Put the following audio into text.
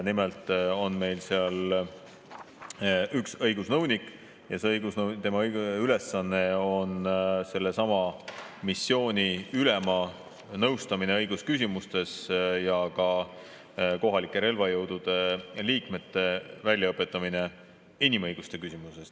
Nimelt on meil seal üks õigusnõunik ja tema ülesanne on sellesama missiooni ülema nõustamine õigusküsimustes ja ka kohalike relvajõudude liikmete väljaõpetamine inimõiguste küsimuses.